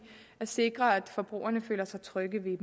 at sikre at forbrugerne føler sig trygge ved